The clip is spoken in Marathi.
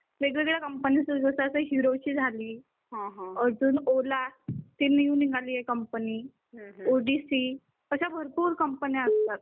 वेग वेगळ्या कंपनीत असतात त्यांच्याकडे जसे हिरोची झाली अजून ओला ती न्यू निघालीये कंपनी ओ डी सी अशा भरपूर कंपनी असतात.